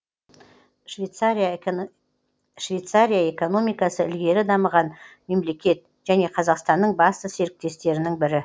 швейцария экономикасы ілгері дамыған мемлекет және қазақстанның басты серіктестерінің бірі